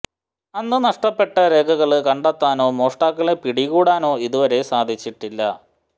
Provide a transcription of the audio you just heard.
അന്ന് നഷ്ടപ്പെട്ട രേഖകള് കണ്ടെത്താനോ മോഷ്ടാക്കളെ പിടികൂടാനോ ഇതു വരെ സാധിച്ചിട്ടില്ല